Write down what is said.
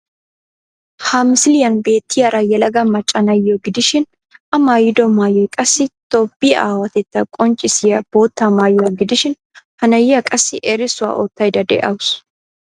Ha misiliyan beettiyara yelaga macca na'iyo gidishin A maayido maayoy qassi Toophphiyawatettaa qonccissiya bootta maayuwa gidishin ha na'iya qassi erissuwa oottaydda de'awuus.